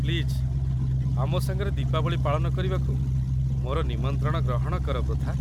Please ଆମ ସାଙ୍ଗରେ ଦୀପାବଳି ପାଳନ କରିବାକୁ ମୋର ନିମନ୍ତ୍ରଣ ଗ୍ରହଣ କର, ପୃଥା।